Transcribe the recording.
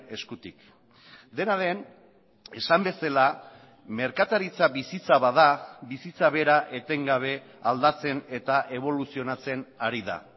eskutik dena den esan bezala merkataritza bizitza bada bizitza bera etengabe aldatzen eta eboluzionatzen ari da